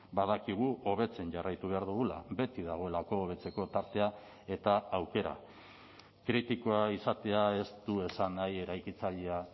badakigu hobetzen jarraitu behar dugula beti dagoelako hobetzeko tartea eta aukera kritikoa izatea ez du esan nahi eraikitzailea